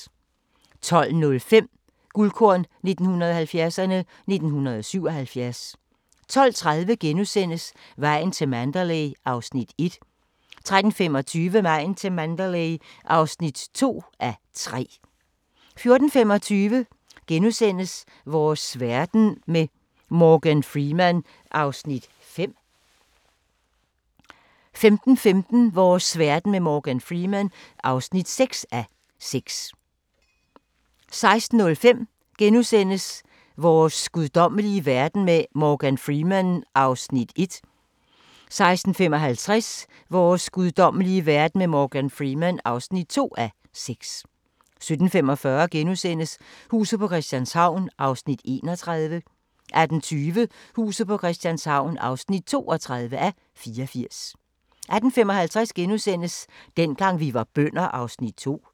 12:05: Guldkorn 1970'erne: 1977 12:30: Vejen til Mandalay (1:3)* 13:25: Vejen til Mandalay (2:3) 14:25: Vores verden med Morgan Freeman (5:6)* 15:15: Vores verden med Morgan Freeman (6:6) 16:05: Vores guddommelige verden med Morgan Freeman (1:6)* 16:55: Vores guddommelige verden med Morgan Freeman (2:6) 17:45: Huset på Christianshavn (31:84)* 18:20: Huset på Christianshavn (32:84)* 18:55: Dengang vi var bønder (2:6)*